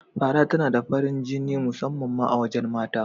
Fara tana da farin jini musamman ma a wajen mata.